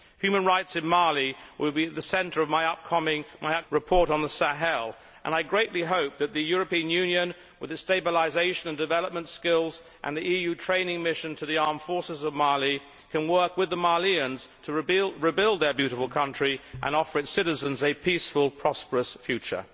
Human rights in Mali will be at the centre of my upcoming report on the Sahel and I greatly hope that the European Union, with its stabilisation and development skills, and the EU training mission to the armed forces of Mali can work with the Malians to rebuild their beautiful country and offer its citizens a peaceful, prosperous future.